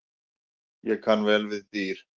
Ég kann vel við dýr.